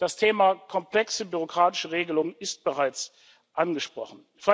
Das Thema komplexe bürokratische Regelung wurde bereits angesprochen.